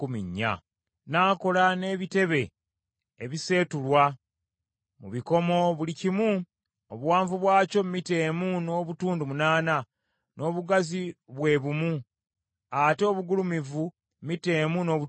N’akola n’ebitebe ebiseetulwa, mu bikomo buli kimu obuwanvu bwakyo mita emu n’obutundu munaana, n’obugazi bwe bumu, ate obugulumivu mita emu n’obutundu busatu.